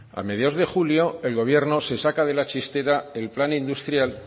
a mediados de julio el gobierno se saca de la chistera el plan industrial